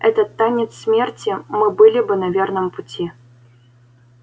этот танец смерти мы были бы на верном пути